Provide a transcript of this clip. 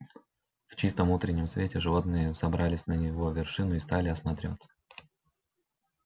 в чистом утреннем свете животные взобрались на его вершину и стали осматриваться